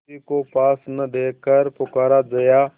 किसी को पास न देखकर पुकारा जया